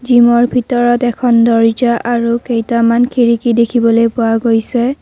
জিমৰ ভিতৰত এখন দৰ্জা আৰু কেইটামান খিৰিকী দেখিবলৈ পোৱা গৈছে।